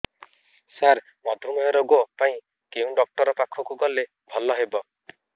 ସାର ମଧୁମେହ ରୋଗ ପାଇଁ କେଉଁ ଡକ୍ଟର ପାଖକୁ ଗଲେ ଭଲ ହେବ